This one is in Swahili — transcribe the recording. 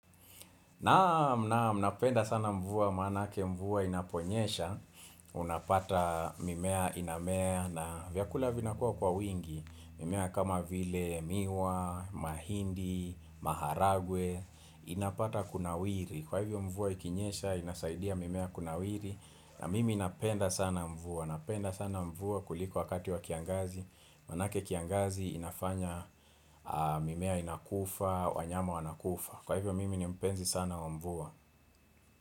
Naam napenda sana mvua maanake mvua inaponyesha, unapata mimea inamea na vyakula vinakuwa kwa wingi, mimea kama vile miwa, mahindi, maharagwe, inapata kunawiri, kwa hivyo mvua ikinyesha, inasaidia mimea kunawiri, na mimi napenda sana mvua, napenda sana mvua kuliko wakati wa kiangazi, maanake kiangazi inafanya mimea inakufa, wanyama wanakufa. Kwa hivyo mimi ni mpenzi sana wa mvua.